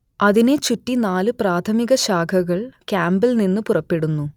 അതിനെ ചുറ്റി നാല് പ്രാഥമിക ശാഖകൾ ക്യാമ്പിൽ നിന്ന് പുറപ്പെടുന്നു